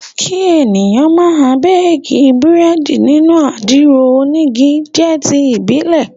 Kí èèyàn máa béèkí Búrẹ́dì nínú àdìro onígi jẹ́ ti ìbílẹ̀